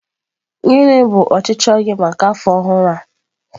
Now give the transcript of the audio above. Gịnị bụ ọchịchọ gị maka afọ ọhụrụ a?